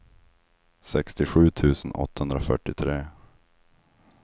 sextiosju tusen åttahundrafyrtiotre